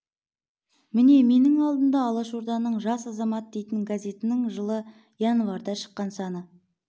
міне менің алдымда алашорданың жас азамат дейтін газетінің жылы январьда шыққан саны